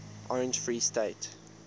orange free state